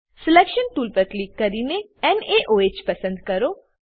selection tool પર click કરીને નાઓહ પસંદ કરો